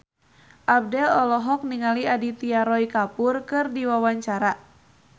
Abdel olohok ningali Aditya Roy Kapoor keur diwawancara